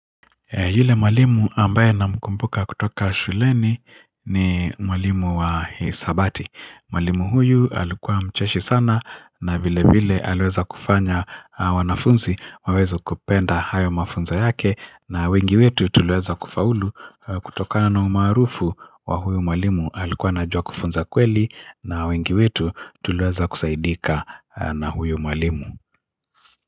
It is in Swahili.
Yule malimu ambaye na mkumbuka kutoka shuleni ni mwalimu wa hesabati mwalimu huyu alikuwa mcheshi sana na vile vile aliweza kufanya wanafunzi wawezo kupenda hayo mafunza yake na wengi wetu tuliweza kufaulu kutoka na umarufu wa huyu mwalimu alikuwa anajua kufunza kweli na wengi wetu tulieza kusaidika na huyu malimu.